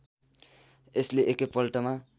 यसले एकै पल्टमा